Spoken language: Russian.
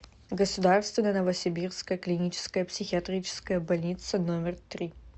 государственная новосибирская клиническая психиатрическая больница номер три